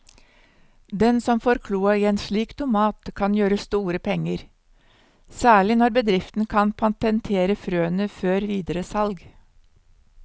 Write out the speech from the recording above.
Den som får kloa i en slik tomat kan gjøre store penger, særlig når bedriften kan patentere frøene før videre salg.